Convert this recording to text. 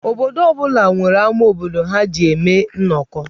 Obodo ọ bụla amá obodo ha ga-eji eme nnọkọ.